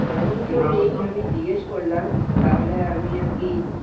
সেরকম কেউ নেই আমি জিজ্ঞেস করলাম। তাহলে আমি আরকি